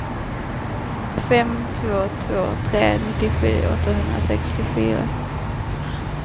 fem två två tre nittiosju åttahundrasextiofyra